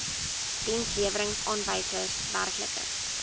dienslewerings aanwysers werklike